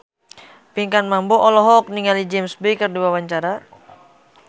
Pinkan Mambo olohok ningali James Bay keur diwawancara